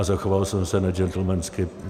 A zachoval jsem se ne džentlmensky.